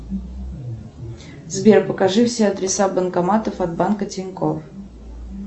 сбер покажи все адреса банкоматов от банка тинькофф